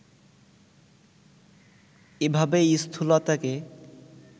এভাবে স্থূলতাকে